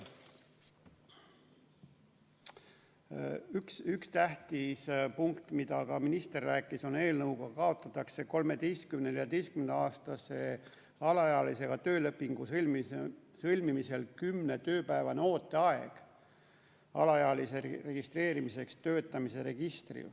Üks tähtis punkt, millest ka minister rääkis, on see, et eelnõuga kaotatakse 13–14-aastase alaealisega töölepingu sõlmimisel 10-tööpäevane ooteaeg alaealise registreerimiseks töötamise registrisse.